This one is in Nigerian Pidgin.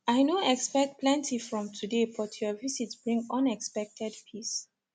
i no expect plenty from today but your visit bring unexpected peace